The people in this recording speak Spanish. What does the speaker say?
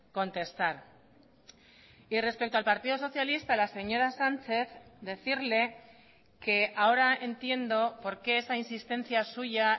contestar y respecto al partido socialista la señora sánchez decirle que ahora entiendo por qué esa insistencia suya